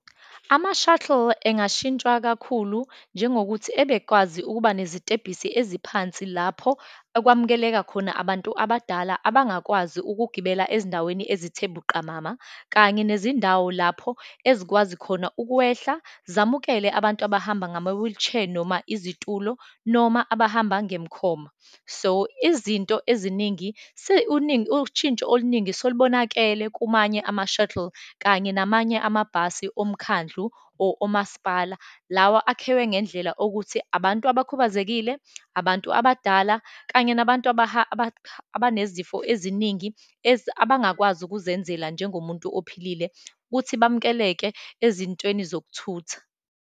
Ama-shuttle engashintshwa kakhulu, njengokuthi abekwazi ukuba ngezitebhisi eziphansi lapho okwamukeleka khona abantu abadala abangakwazi ukugibela ezindaweni ezithe buqamama, kanye nezindawo lapho ezikwazi khona ukwehla zamukele abantu abahamba ngama-wheelchair, noma izitulo, noma abahamba ngemkhoma. So, izinto eziningi ushintsho oluningi solubonakele kumanye ama-shuttle, kanye namanye amabhasi omkhandlu omasipala. Lawa akhiwe ngendlela okuthi abantu abakhubazekile, abantu abadala, kanye nabantu abanezifo eziningi, abangakwazi ukuzenzela njengomuntu ophilile ukuthi bamukeleke ezintweni zokuthutha.